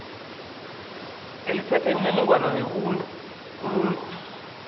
eliphethe imininingwana yomuntu